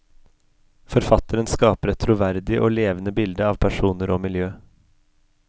Forfatteren skaper et troverdig og levende bilde av personer og miljø.